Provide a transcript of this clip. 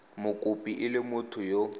mokopi e le motho yo